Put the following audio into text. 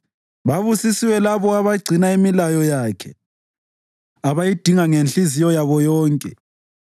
Babusisiwe labo abagcina imilayo yakhe, abayidinga ngenhliziyo yabo yonke.